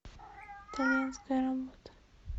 итальянская работа